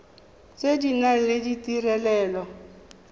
tse di nang le ditirelo